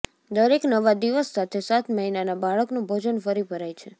દરેક નવા દિવસ સાથે સાત મહિનાના બાળકનું ભોજન ફરી ભરાય છે